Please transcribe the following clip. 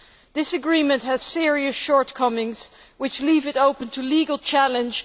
This agreement has serious shortcomings which leave it open to legal challenge.